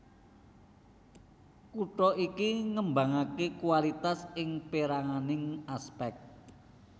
Kutha iki ngembangaké kualitas ing péranganing aspek